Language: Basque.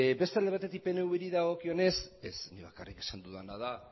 beste alde batetik pnvri dagokionez ez nik bakarrik esan dudana da